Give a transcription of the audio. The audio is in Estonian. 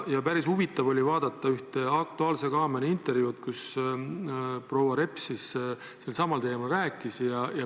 Päris huvitav oli vaadata ühte "Aktuaalse kaamera" intervjuud, kus proua Reps selsamal teemal rääkis.